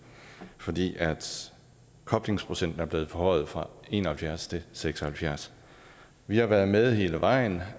fordi koblingsprocenten er blevet forhøjet fra en og halvfjerds til seks og halvfjerds vi har været med hele vejen